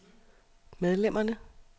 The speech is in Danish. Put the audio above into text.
medlemmerne